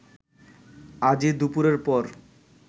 আজই দুপুরের পর